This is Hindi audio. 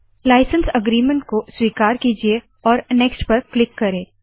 लाइसन्स अग्रीमन्ट को स्वीकार कीजिये और नेक्स्ट पर क्लिक करे